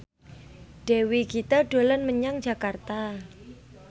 Dewi Gita dolan menyang Jakarta